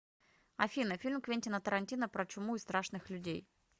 афина фильм квентина тарантино про чуму и страшных людей